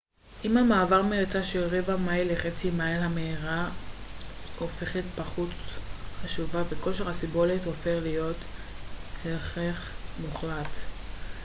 עם המעבר מריצה של רבע מייל לחצי מייל המהירות הופכת פחות חשובה וכושר הסיבולת הופך להיות הכרח מוחלט